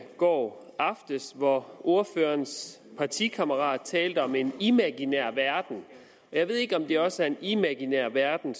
går aftes hvor ordførerens partikammerat talte om en imaginær verden jeg ved ikke om det også er en imaginær verden